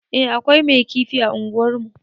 Eh akwai mai kifi a unguwar mu